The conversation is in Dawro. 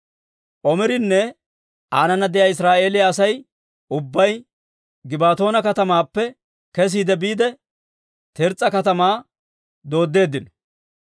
Omirinne aanana de'iyaa Israa'eeliyaa Asay ubbay Gibbatoona katamaappe kesiide biide, Tirs's'a katamaa dooddeeddino.